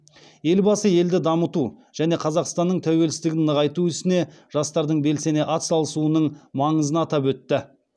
елбасы елді дамыту және қазақстанның тәуелсіздігін нығайту ісіне жастардың белсене атсалысуының маңызын атап өтті